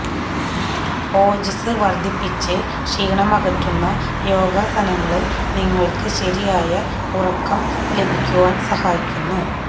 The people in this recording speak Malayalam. ഓജസ്സ് വര്ദ്ധിപ്പിച്ച് ക്ഷീണമകറ്റുന്ന യോഗാസനങ്ങള് നിങ്ങള്ക്ക് ശരിയായ ഉറക്കം ലഭിക്കുവാന് സഹായിക്കുന്നു